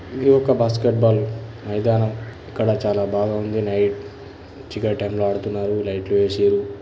ఇది ఒక basket ball మైదానం చాలా బాగా ఉంది లైట్ మంచిగా అడుతూఉన్నారు లైట్లు వేసి.